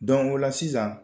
o la sisan